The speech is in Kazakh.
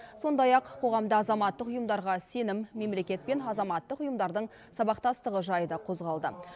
сондай ақ қоғамда азаматтық ұйымдарға сенім мемлекет пен азаматтық ұйымдардың сабақтастығы жайы да қозғалды